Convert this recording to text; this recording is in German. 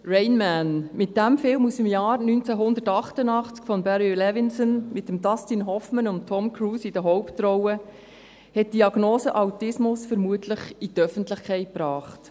«Rain Man», dieser Film von Barry Levinson aus dem Jahr 1988, mit Dustin Hoffmann und Tom Cruise in den Hauptrollen, hat die Diagnose Autismus vermutlich in die Öffentlichkeit gebracht.